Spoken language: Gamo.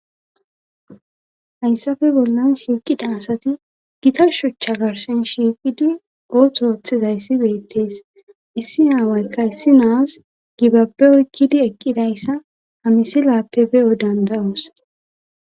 hayssafe bollan shiiqida asati gita shuchcha garsen shiiqidi ootho ooththizayssi beettees issi aawaykka issi naas gibapbe oykkidi eqqidayssa hamisi laappe be7o danda7oos